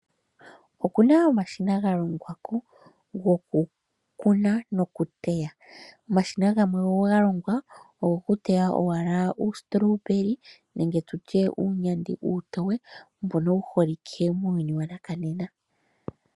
Okuna omashina galongwa ko gokukuna nokuteya. Omashina gamwe ogalongwa gokuteya owala uuStrawberry nenge tutye uunyandi uutoye mbono wu holike muuyuni wanakanena.